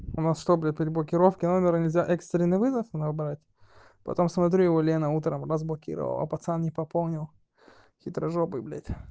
у нас что блять при блокировки номера экстренный вызов набрать потом смотрю его лена утром разблокировала пацан не пополнил хитрожопый блять